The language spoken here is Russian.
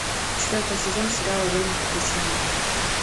четвертый сезон сериала время приключений